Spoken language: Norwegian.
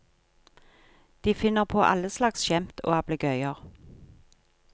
De finner på alle slags skjemt og ablegøyer.